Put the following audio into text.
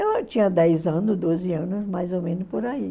Então eu tinha dez anos, doze anos, mais ou menos por aí.